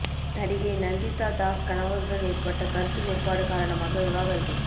நடிகை நந்திதா தாஸ் கணவருடன் ஏற்பட்ட கருத்து வேறுபாடு காரணமாக விவாகரத்து